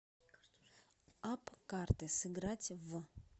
апп карты сыграть в